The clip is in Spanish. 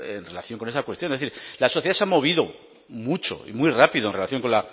en relación con esa cuestión es decir la sociedad se ha movido mucho y muy rápido en relación con